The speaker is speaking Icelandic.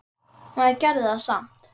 Maður gerði það samt.